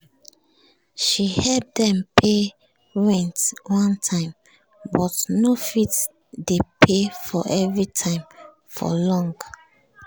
she help dem pay rent one time but no fit dey pay for every time for long